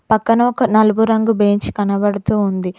పక్కన ఒక నలుపు రంగు బెంచ్ కనబడుతూ ఉంది.